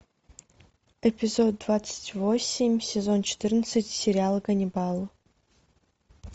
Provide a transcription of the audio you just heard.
эпизод двадцать восемь сезон четырнадцать сериал ганнибал